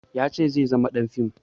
Ya ce zai zama ɗan fim